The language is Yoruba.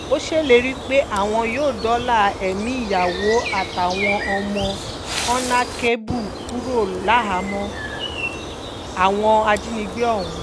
ó ṣèlérí pé àwọn yóò dóòlà ẹ̀mí ìyàwó àtàwọn ọmọ honakébù kúrò láhàámọ̀ àwọn ajínigbé ọ̀hún